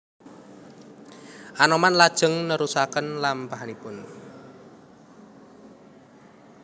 Anoman lajeng nerusaken lampahipun